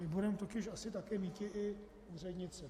My budeme totiž asi taky míti i úřednice.